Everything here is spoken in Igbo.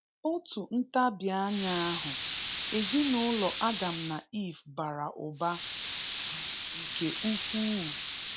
Otu ntabi anya ahụ, ezinụlọ Adam na Eve bara ụba um nke ukwuu.